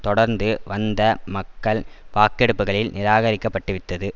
தொடர்ந்து வந்த மக்கள் வாக்கெடுப்புக்களில் நிராகரிக்கப்பட்டுவிட்டது